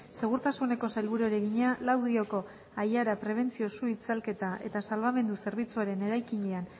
segurtasuneko sailburuari egina laudioko aiara prebentzio su itzalketa eta salbamendu zerbitzuaren eraikinean